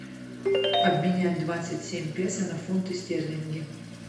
обменять двадцать семь песо на фунты стерлинги